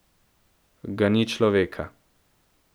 Ga ni človeka.